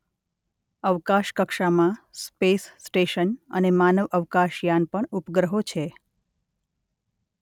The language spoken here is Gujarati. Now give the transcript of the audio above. અવકાશ કક્ષામાં સ્પેસ સ્ટેશન અને માનવ અવકાશયાન પણ ઉપગ્રહો છે.